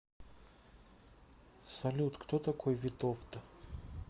салют кто такой витовт